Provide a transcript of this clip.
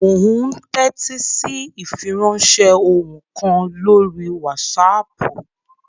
Mò ún tẹ́tí sí ìfiránsẹ́ ohùn kan lórí wásaàpù